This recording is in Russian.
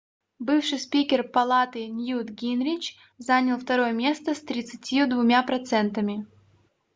бывший спикер палаты ньют гингрич занял второе место с 32 процентами